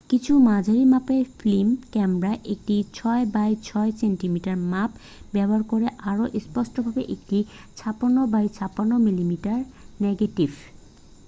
কিছু মাঝারি-মাপের film camera একটি 6 বাই 6 সেন্টিমিটার মাপ ব্যবহার করে আরও স্পষ্টভাবে একটি 56 বাই 56 মিলিমিটার নেগেটিভ